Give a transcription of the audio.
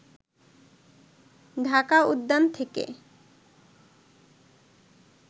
ঢাকা উদ্যান থেকে